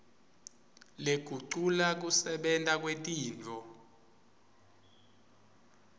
lekugucula kusebenta kwetintfo